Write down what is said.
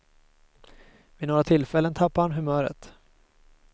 Vid några tillfällen tappar han humöret.